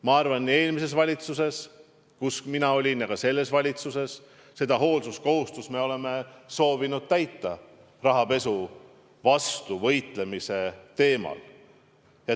Ma arvan, et eelmises valitsuses, kus ma olin, ja ka selles valitsuses me oleme soovinud täita hoolsuskohustust rahapesu vastu võitlemisel.